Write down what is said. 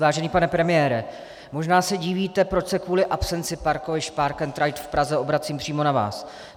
Vážený pane premiére, možná se divíte, proč se kvůli absenci parkovišť park and ride v Praze obracím přímo na vás.